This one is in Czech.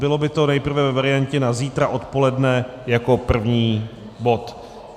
Bylo by to nejprve ve variantě na zítra odpoledne jako první bod.